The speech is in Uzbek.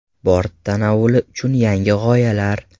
Bort tanovuli uchun yangi g‘oyalar.